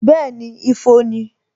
Bẹẹni, ifo ni